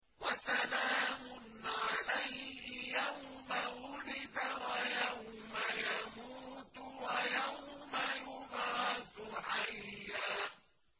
وَسَلَامٌ عَلَيْهِ يَوْمَ وُلِدَ وَيَوْمَ يَمُوتُ وَيَوْمَ يُبْعَثُ حَيًّا